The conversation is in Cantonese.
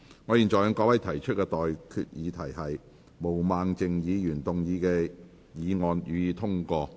我現在向各位提出的待決議題是：毛孟靜議員動議的議案，予以通過。